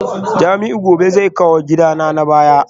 Jamiu gobe zai kawo gidana na baya